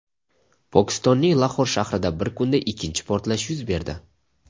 Pokistonning Lahor shahrida bir kunda ikkinchi portlash yuz berdi.